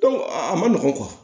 a ma nɔgɔn